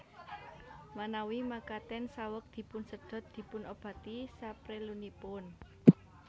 Manawi makaten saweg dipunsedhot dipunobati saprelunipun